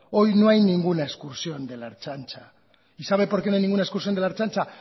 hoy no hay ninguna excursión de la ertzaintza y sabe por qué no hay ninguna excursión de la ertzaintza